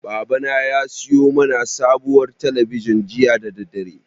Babana ya siyo mana sabuwar talabijin jiya da daddare.